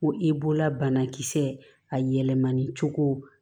Ko i bolola banakisɛ a yɛlɛmani cogo